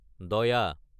দায়া